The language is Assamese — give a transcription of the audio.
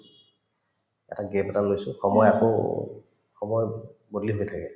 এটা gap এটা লৈছো সময় আকৌ সময় বদলি হৈ থাকে